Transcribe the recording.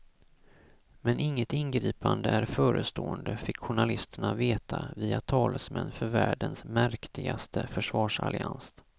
Men inget ingripande är förestående, fick journalisterna veta via talesmän för världens märktigaste försvarsallians.